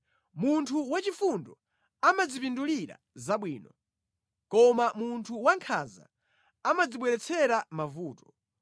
Munthu wachifundo amadzipindulira zabwino koma munthu wankhanza amadzibweretsera mavuto.